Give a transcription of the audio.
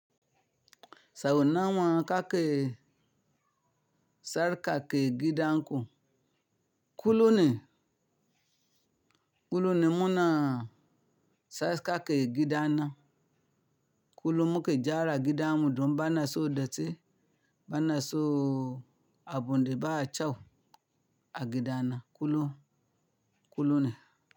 Sau nawa kake sarka ke gidanku. Kulum ne, kulum ne muna sarka ke gida na. Kulu muke gera gidanmu don bana son datti bana so abun de ba a kyau a gida na kullum, kullum ne.